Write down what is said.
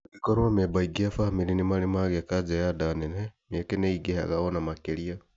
Angĩkorwo amemba aingĩ a bamĩrĩ nĩ marĩ magĩa kanja ya nda nene, mĩeke nĩĩingĩhaga ona makĩria